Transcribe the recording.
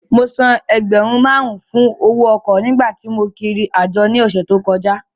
Mo san ẹgbẹ̀rún márùn-ún fún owó ọkọ̀ nígbà tí mò ń rìnrìn àjò ní ọ̀sẹ̀ tí ó kọjá